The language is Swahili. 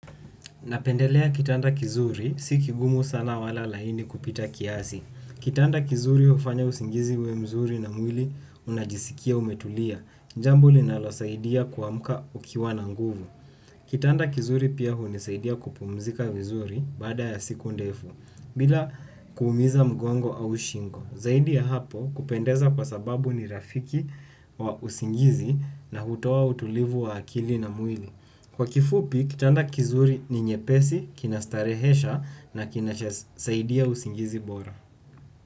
Napendelea kitanda kizuri, si kigumu sana wala laini kupita kiasi. Kitanda kizuri hufanya usingizi uwe mzuri na mwili unajisikia umetulia. Jambo linalosaidia kuamka ukiwa na nguvu. Kitanda kizuri pia hunisaidia kupumzika vizuri baada ya siku ndefu, bila kuumiza mgongo au shingo. Zaidi ya hapo kupendeza kwa sababu ni rafiki wa usingizi na hutoa utulivu wa akili na mwili. Kwa kifupi, kitanda kizuri ni nyepesi, kinastarehesha na kinasaidia usingizi bora.